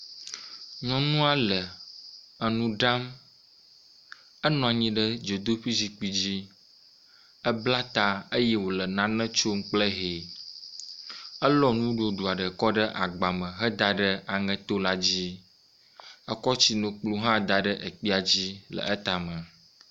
Nyɔnua le enu ɖam enɔ anyi ɖe dzodoƒi zikpui dzi. Ebla ta eye wole nane tsom kple hɛ. Elɔ nuɖuɖua ɖe kɔɖe agba me heda ɖe aŋeto la dzi. Ekɔ tsinokplu hã da ɖe akpia dzi le etame.